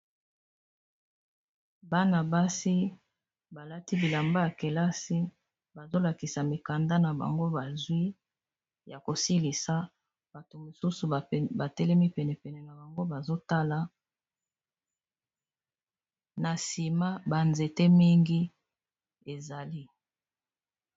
Bana basi balati bilamba yakelasi bazolakisa mikanda na bango bazwi ya kosilisa bato mosusu batelemi penepene na bango bazotala na nsima banzete mingi ezali.